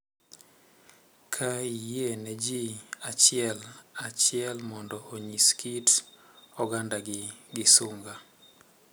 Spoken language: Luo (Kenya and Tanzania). Ka iyie ne ji achiel achiel mondo onyis kit ogandagi gi sunga.